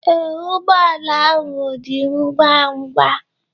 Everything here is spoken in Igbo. Ee, ụgbọ ala ahụ dị ngwa ngwa.